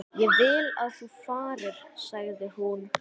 Ég vil að þú farir, sagði hún.